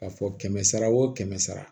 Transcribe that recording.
K'a fɔ kɛmɛ sara o kɛmɛ sara